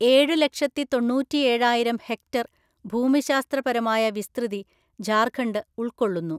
ഏഴു ലക്ഷത്തിതൊണ്ണൂറ്റിയേഴായിരം ഹെക്ടർ ഭൂമിശാസ്ത്രപരമായ വിസ്തൃതി ജാർഖണ്ഡ് ഉള്‍ക്കൊള്ളുന്നു.